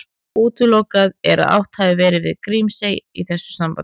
Útilokað er að átt hafi verið við Grímsey í þessu sambandi.